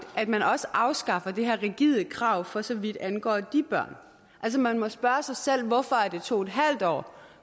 at man også afskaffer det her rigide krav for så vidt angår de børn altså man må spørge sig selv hvorfor det er to en halv år